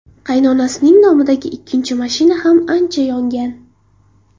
Qaynonasining nomidagi ikkinchi mashina ham ancha yongan.